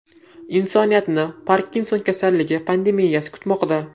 Insoniyatni Parkinson kasalligi pandemiyasi kutmoqda.